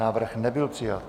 Návrh nebyl přijat.